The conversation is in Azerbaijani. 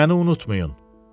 Məni unutmayın.